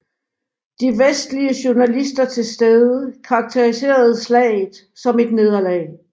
De vestlige journalister til stede karakteriserede slaget som et nederlag